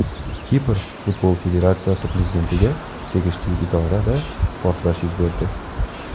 Kipr futbol federatsiyasi prezidentiga tegishli idorada portlash yuz berdi.